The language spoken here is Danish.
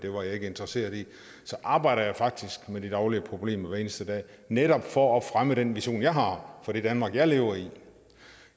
var interesseret i det så arbejder jeg faktisk med de daglige problemer hver eneste dag netop for at fremme den vision jeg har for det danmark jeg lever i